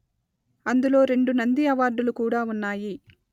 అందులో రెండు నంది అవార్డులు కూడా ఉన్నాయి